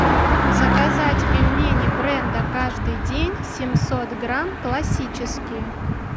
заказать пельмени бренда каждый день семьсот грамм классические